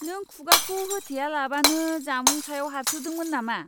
नों खुगाखौ होथेयालाबानो जामुं सायाव हार्सिउदोंमोन नामा?